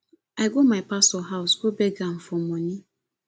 i go my pastor house go beg am for money